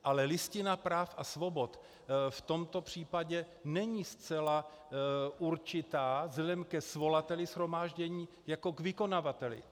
Ale Listina práv a svobod v tomto případě není zcela určitá vzhledem ke svolavateli shromáždění jako k vykonavateli.